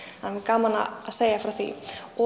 það er gaman að segja frá því og